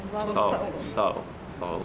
Sağ olun, var olun, sağ olun.